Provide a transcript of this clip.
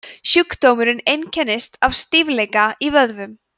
sjúkdómurinn einkennist af stífleika í vöðvum